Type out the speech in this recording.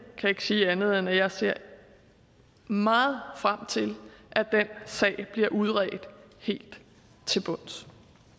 kan ikke sige andet end at jeg ser meget frem til at den sag bliver udredt helt til bunds